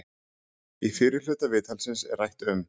Í fyrri hluta viðtalsins er rætt um